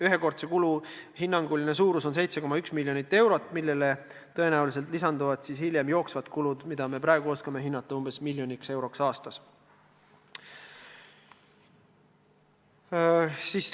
Ühekordse kulu hinnanguline suurus on 7,1 miljonit eurot, millele tõenäoliselt lisanduvad hiljem jooksvad kulud, mida me praegu oskame hinnata umbes miljoniks euroks aastas.